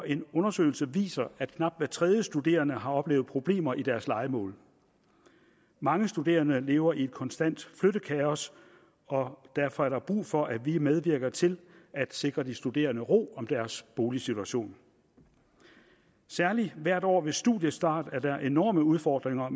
en undersøgelse viser at knap hver tredje studerende har oplevet problemer i deres lejemål mange studerende lever i et konstant flyttekaos og derfor er der brug for at vi medvirker til at sikre de studerende ro om deres boligsituation særlig hvert år ved studiestart er der enorme udfordringer